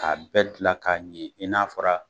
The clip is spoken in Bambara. A bɛɛ dilan k'a ɲɛ i n'a fɔra